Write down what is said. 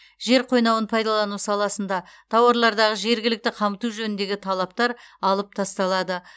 жер қойнауын пайдалану саласында тауарлардағы жергілікті қамту жөніндегі талаптар алып тасталады